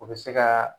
O bɛ se ka